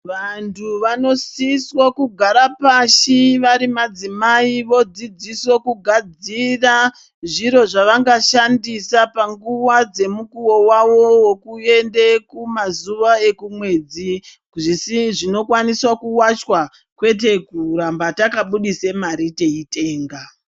Vanthu vanosiswa kugara pashi vari madzimai vodzidziswe kugadzira zviro zvavangashandisa panguwa yemukuwo wavo wokuenda kumazuwa ekumwedzi zvinokwanise kuwachwa kwete kuramba takabudise mare teitenga.